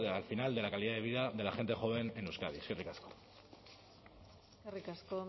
al final de la calidad de vida de la gente joven en euskadi eskerrik asko eskerrik asko